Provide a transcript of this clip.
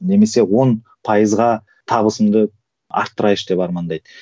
немесе он пайызға табысымды арттырайыншы деп армандайды